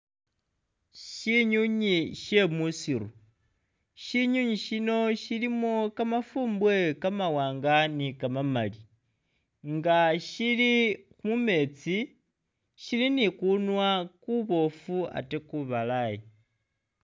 Syinywinywi sye musiiru, Syinywinywi shino shilimo kamadumbwe kamawaanga ni kamamali nga shili mu meetsi, shili ni kunwa kuboofu ate kubalayi.